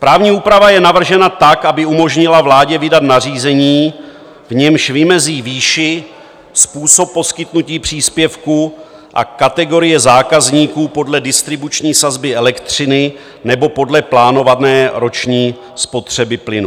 Právní úprava je navržena tak, aby umožnila vládě vydat nařízení, v němž vymezí výši, způsob poskytnutí příspěvku a kategorie zákazníků podle distribuční sazby elektřiny nebo podle plánované roční spotřeby plynu.